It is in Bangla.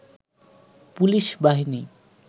পুলিশ বাহিনী